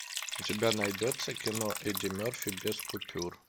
у тебя найдется кино эдди мерфи без купюр